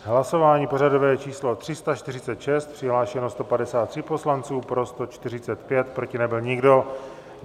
Hlasování pořadové číslo 346, přihlášeno 153 poslanců, pro 145, proti nebyl nikdo.